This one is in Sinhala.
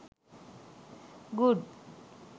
good